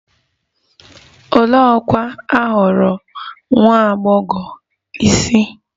Olee ọkwa a họọrọ nwa agbọghọ isi?